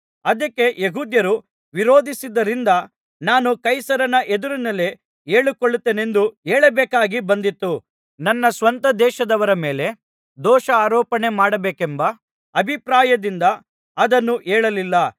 ಅದಕ್ಕೆ ಯೆಹೂದ್ಯರು ವಿರೋಧಿಸಿದ್ದರಿಂದ ನಾನು ಕೈಸರನ ಎದುರಿನಲ್ಲಿ ಹೇಳಿಕೊಳ್ಳುತ್ತೇನೆಂದು ಹೇಳಬೇಕಾಗಿ ಬಂದಿತು ನನ್ನ ಸ್ವಂತ ದೇಶದವರ ಮೇಲೆ ದೋಷಾರೋಪಣೆ ಮಾಡಬೇಕೆಂಬ ಅಭಿಪ್ರಾಯದಿಂದ ಅದನ್ನು ಹೇಳಲಿಲ್ಲ